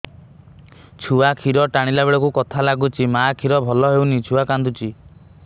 ଛୁଆ ଖିର ଟାଣିଲା ବେଳକୁ ବଥା ଲାଗୁଚି ମା ଖିର ଭଲ ହଉନି ଛୁଆ କାନ୍ଦୁଚି